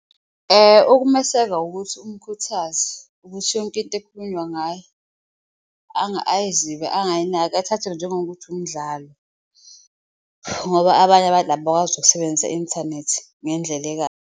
Ukumeseka ukuthi umkhuthaze ukuthi yonke into ekukhulunywa ngaye ayizibe ayinaki athathe njengokuthi umdlalo, ngoba abanye abantu abakwazi ukusebenzisa i-inthanethi ngendlela .